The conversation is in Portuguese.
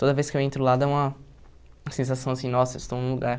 Toda vez que eu entro lá, dá uma uma sensação, assim, nossa, estou num lugar...